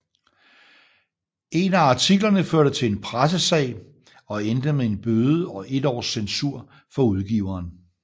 En af artiklerne førte til en pressesag og endte med en bøde og et års censur for udgiveren